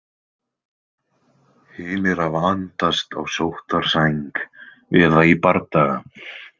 Hinir hafa andast á sóttarsæng eða í bardaga.